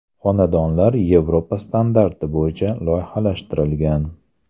Xonadonlar Yevropa standarti bo‘yicha loyihalashtirilgan.